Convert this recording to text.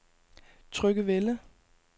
Tryggevælde